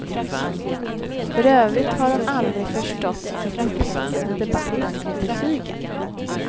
För övrigt har hon aldrig förstått den upphetsade debatten om betygen.